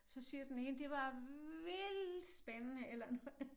Så siger den ene det var vildt spændende eller noget